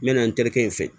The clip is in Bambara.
N mɛna n terikɛ in fɛ